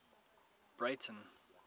breyten